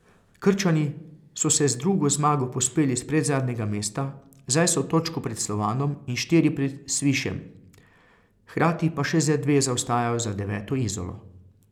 Krčani so se z drugo zmago povzpeli s predzadnjega mesta, zdaj so točko pred Slovanom in štiri pred Svišem, hkrati pa še za dve zaostajajo za deveto Izolo.